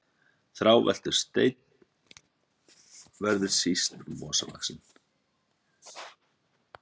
Þráveltur stein verður síst mosavaxinn.